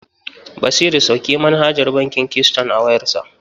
Basiru sauke manhajar bankin Keyston a wayarsa.